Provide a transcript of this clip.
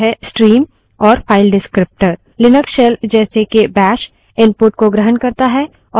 Linux shell जैसे के bash input को ग्रहण करता है और अनुक्रम के रूप या अक्षरों की streams में output भेजता है